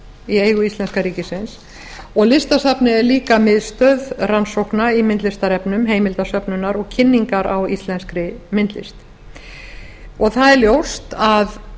í eigu íslenska ríkisins og listasafnið er líka miðstöð rannsókna í myndlistarefnum heimildasöfnunar og kynningar á íslenskri myndlist það er ljóst að